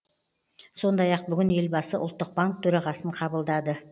сондай ақ бүгін елбасы ұлттық банк төрағасын қабылдады